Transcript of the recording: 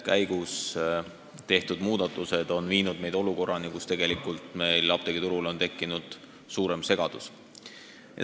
Tegelikult on tehtud muudatused viinud olukorrani, kus apteegiturul on tekkinud suurem segadus.